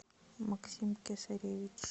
максим кесаревич